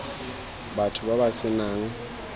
batho ba ba se nang